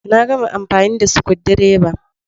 Na gama amfani da screwdriver.